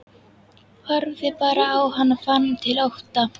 Horfði bara á hann og fann til ótta.